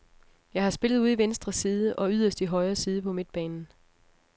Jeg har spillet ude i venstre side og yderst i højre side på midtbanen.